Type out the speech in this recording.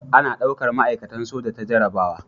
A na daukar ma'aikatan soja ta jarrabawa